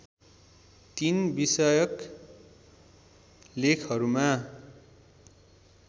३ विषयक लेखहरूमा